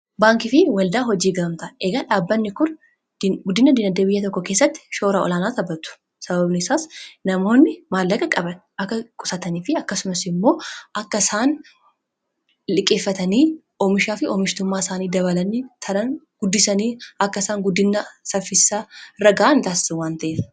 baankii fi waldaa hojii gamamtaa eegaa dhaabbanni kur guddina dina deebiyya tokko keessatti shoora olaanaa tabatu sababni isaas namoonni maallaqa qaban akka qusatanii fi akkasumas immoo akka isaan lhiqeeffatanii oomishaa fi oomishtummaa isaanii dabalani taran guddisanii akka isaan guddina saffisaa raga'an itaassa wanta'ea